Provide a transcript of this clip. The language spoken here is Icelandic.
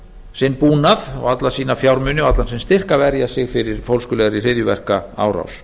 sinn búnað alla sína fjármuni og allan sinn styrk að verja sig fyrir fólskulegri hryðjuverkaárás